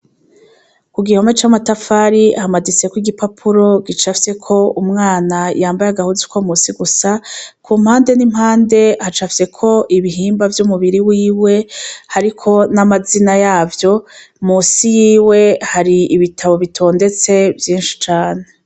Ku gihome c'amatafari hamaditseko igipapuro gicafyeko umwana yambaye agahuzu ko munsi gusa kumpande n'impande hacafyeko ibihimba vy'umubiri wiwe hariko n'amazina yavyo munsi yiwe hari ibitabo bitondetse vyishi cane.